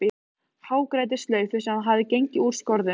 Hagræddi slaufu sem hafði gengið úr skorðum.